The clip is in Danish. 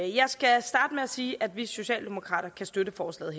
jeg skal starte med at sige at vi socialdemokrater kan støtte forslaget